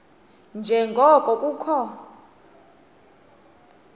nje ngoko kukho